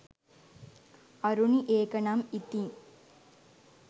අරුණි ඒක නම් ඉතිං